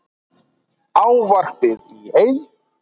Ávarpið í heild